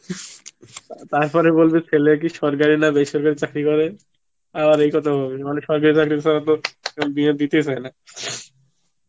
তারপরে বলবে ছেলে কি সরকারি না বেসরকারি চাকরি করে আর এই কথা বলবে মানে সরকারি চাকরি ছাড়া তো বিয়ে দিতে চায়না